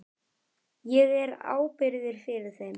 Ég er ábyrgur fyrir þeim.